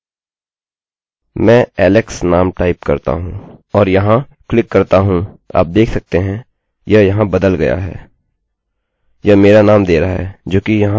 मैं alex नाम type करता हूँ और यहाँ क्लिक करता हूँ आप देख सकते हैं यह यहाँ बदल गया है यह मेरा नाम दे रहा है जो कि यहाँ इस बॉक्स का नाम है और यह वह वेल्यू भी दे रहा है जिसे मैंने यहाँ टाइप किया है